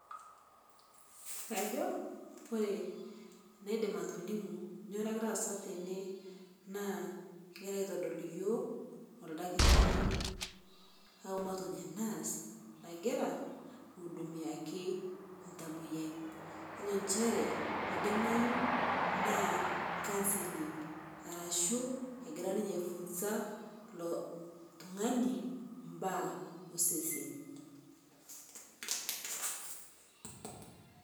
ore inaidim atolimu kadoolta odakitari ogira airorie oltamoyiai councelling kajo egira aliki ele kitari ele tungani imbaa osesen